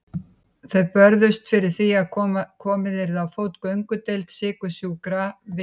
Þau börðust fyrir því að komið yrði á fót göngudeild sykursjúkra við